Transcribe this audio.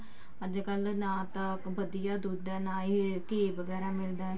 ਅੱਜਕਲ ਨਾ ਤਾਂ ਵਧੀਆ ਦੁੱਧ ਹੈ ਨਾ ਤੇ ਨਾ ਹੀ ਘੀ ਵਗੈਰਾ ਮਿਲਦਾ